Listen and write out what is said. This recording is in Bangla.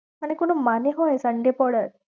মানে কোনো মানে হয় sunday পড়ার?